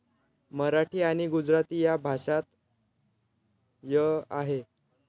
मराठी आणि गुजराती या भाषांत ळ आहे.